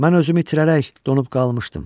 Mən özümü itirərək donub qalmışdım.